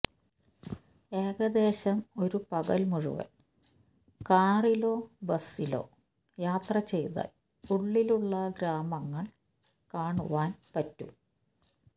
ഏകദേശം ഒരു പകൽ മുഴുവൻ കാറിലോ ബസ്സിലോ യാത്ര ചെയ്താൽ ഉള്ളിലുള്ള ഗ്രാമങ്ങൾ കാണുവാൻ പറ്റും